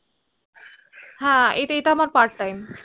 হ্য়াঁ এই তা আমার part time